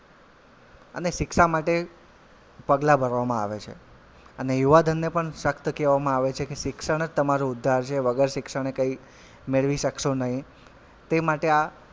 અને શિક્ષા માટે પગલાં ભરવામાં આવે છે અને યુવાધનને પણ સખ્ત કહેવામાં આવે છે કે શિક્ષણ જ તમારો ઉદ્ધાર છે વગર શિક્ષણએ કઈ મેળવી શકશો નહીં તે માટે આ,